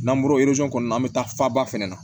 N'an bɔra kɔnɔ an bɛ taa faba fɛnɛ na